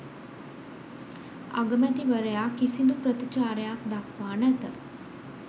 අගමැතිවරයා කිසිදු ප්‍රතිචාරයක් දක්වා නැත.